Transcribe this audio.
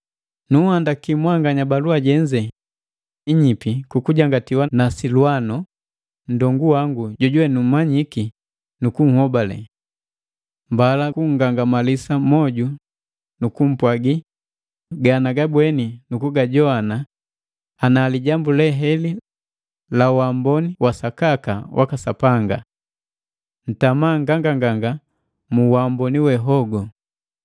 Nunhandaki mwanganya balua jenze inyipi kukujangatiwa na silwano, nndongu wangu jojuwe numanyiki nu kunhobale. Mbala kunngangamalisa moju nu kumpwagi ganagabweni nukujoana ana lijambu heli la waamboni wasakaka waka Sapanga. Ntama nganganganga mu uamboni we hogu.